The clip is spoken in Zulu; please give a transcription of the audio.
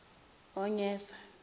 onyesa